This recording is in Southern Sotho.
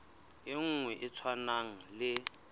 e nngwe e tshwanang le